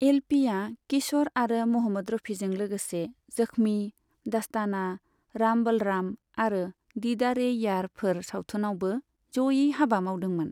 L P या किश'र आरो महम्मद रफिजों लोगोसे 'जखमि', 'दस्ताना', 'राम बलराम' आरो 'दीदार ए यार' फोर सावथुनावबो जयै हाबा मावदोंमोन।